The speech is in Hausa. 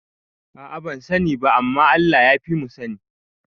A'a bansa ni ba, amma Allah yafimu sani